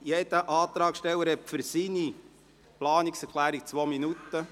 Jeder Antragsteller erhält für seine Planungserklärung zwei Minuten.